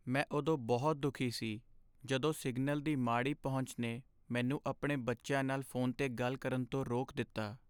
ਮੈਂ ਉਦੋਂ ਬਹੁਤ ਦੁਖੀ ਸੀ ਜਦੋਂ ਸਿਗਨਲ ਦੀ ਮਾੜੀ ਪਹੁੰਚ ਨੇ ਮੈਨੂੰ ਆਪਣੇ ਬੱਚਿਆਂ ਨਾਲ ਫੋਨ 'ਤੇ ਗੱਲ ਕਰਨ ਤੋਂ ਰੋਕ ਦਿੱਤਾ।